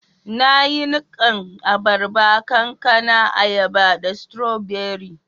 Na yi nikan abarba, kankana, ayaba da strawberry.